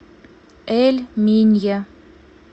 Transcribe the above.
эль минья